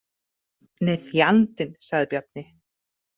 Nei, fjandinn, sagði Bjarni.